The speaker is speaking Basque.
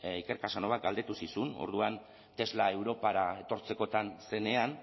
iker casanovak galdetu zizun orduan tesla europara etortzekotan zenean